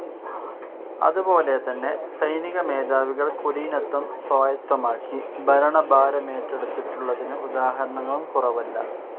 അതുപോലെതന്നെ സൈനികമേധാവികൾ കുലീനത്വം സ്വായത്തമാക്കി ഭരണഭാരമേറ്റെടുത്തിട്ടുള്ളതിന് ഉദാഹരണങ്ങളും കുറവല്ല.